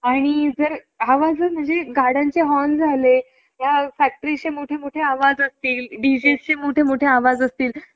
आणि जर आवाज म्हणजे गाड्यांचे हॉर्न झाले, ह्या फॅक्टरी चे मोठमोठे आवाज असतील, डी जे चे मोठे मोठे आवाज असतील